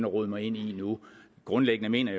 rode mig ind i nu grundlæggende mener